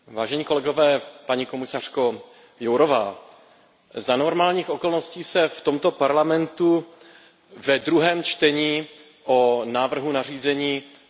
Paní komisařko, za normálních okolností se v tomto Parlamentu ve druhém čtení o návrhu nařízení nehlasuje.